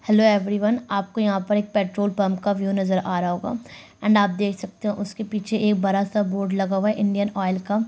Hello everyone. आपको यहाँ पर एक पेट्रोल पम्प का व्यू नजर आ रहा होगा। एण्ड आप देख सकते हो उसके पीछे एक बड़ा सा बोर्ड लगा हुआ है इंडियन ऑइल का।